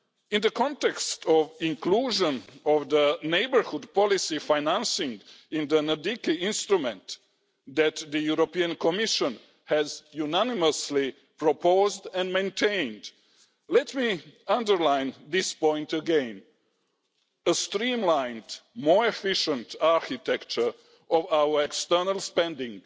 In the context of the inclusion of neighbourhood policy financing in the NDICI instrument that the Commission unanimously proposed and maintained, let me underline this point again a streamlined, more efficient architecture of our external spending